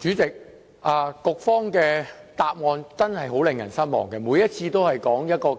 主席，局方的答覆真的很令人失望，每次都說